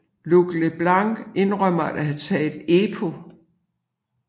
Luc Leblanc indrømmede at have taget EPO